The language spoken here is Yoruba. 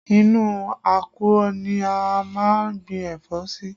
Inú àkùọ̀ ni a máa ń gbìn ẹ̀fọ́ sí